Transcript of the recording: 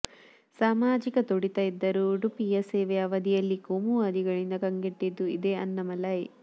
ಸಾಮಾಜಿಕ ತುಡಿತ ಇದ್ದರೂ ಉಡುಪಿಯ ಸೇವೆಯ ಅವಧಿಯಲ್ಲಿ ಕೋಮುವಾದಿಗಳಿಂದ ಕಂಗೆಟ್ಟಿದ್ದೂ ಇದೇ ಅಣ್ಣಾ ಮಲೈ